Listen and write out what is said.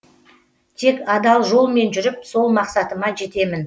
тек адал жолмен жүріп сол мақсатыма жетемін